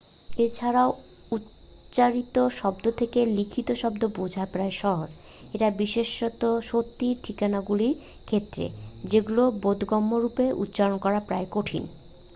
এছাড়াও উচ্চারিত শব্দ থেকে লিখিত শব্দ বোঝা প্রায়ই সহজ এটা বিশেষত সত্যি ঠিকানাগুলির ক্ষেত্রে যেগুলি বোধগম্যরূপে উচ্চারন করা প্রায়ই কঠিন